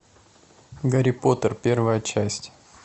гарри поттер первая часть